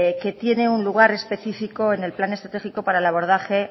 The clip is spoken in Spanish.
que tiene un lugar específico en el plan estratégico para el abordaje